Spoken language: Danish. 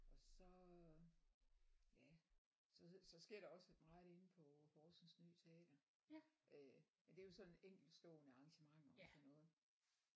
Og så ja så så sker der også et meget inde på Horsens Ny Teater øh men det er jo sådan enkeltstående arrangementer og sådan noget